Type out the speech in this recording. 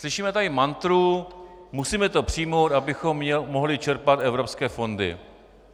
Slyšíme tady mantru - musíme to přijmout, abychom mohli čerpat evropské fondy.